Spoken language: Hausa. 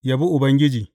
Yabi Ubangiji.